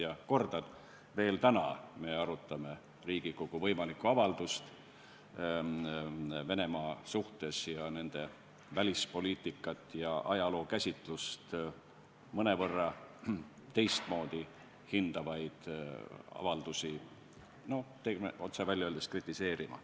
Ja kordan, et veel täna me arutame Riigikogu võimalikku avaldust Venemaa suhtes ning nende välispoliitikat ja ajalookäsitlust mõnevõrra teistmoodi hindavaid avaldusi.